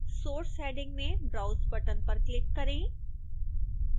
source heading में browse button पर click करें